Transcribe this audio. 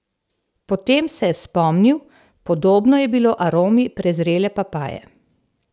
Potem se je spomnil, podobno je bilo aromi prezrele papaje.